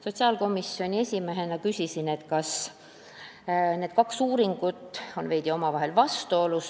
Sotsiaalkomisjoni esimehena küsisin, kas need kaks uuringut ei ole omavahel veidi vastuolus.